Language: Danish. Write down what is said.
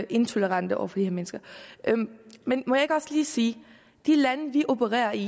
intolerante over for de mennesker men må jeg ikke også lige sige at de lande vi opererer i